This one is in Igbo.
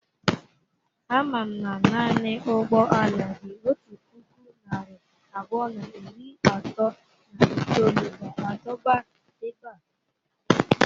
Amam na naanị ụgbọ ala dị otu puku narị abụọ na iri atọ na itolu ga-adọba ebe a.